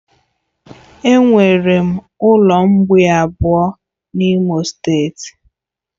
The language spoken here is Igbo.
Enwere ụlọ mgbei abụọ n'Imo steeti